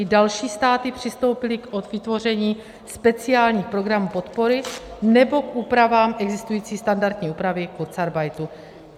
I další státy přistoupily k vytvoření speciálních programů podpory nebo k úpravám existující standardní úpravy kurzarbeitu.